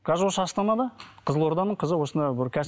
қазір осы астанада қызылорданың қызы осында бір